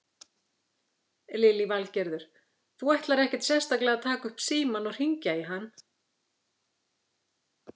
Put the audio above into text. Lillý Valgerður: Þú ætlar ekkert sérstaklega að taka upp símann og hringja í hann?